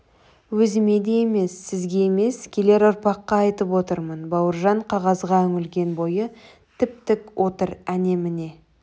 өзіме де емес сізге емес келер ұрпаққа айтып отырмын бауыржан қағазға үңілген бойы тіп-тік отыр әне-міне